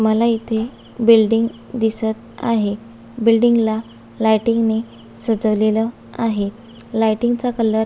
मला इथे बिल्डिंग दिसत आहे बिल्डिंग ला लाईटींग ने सजवलेल आहे लाइटिंग चा कलर --